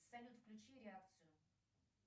салют включи реакцию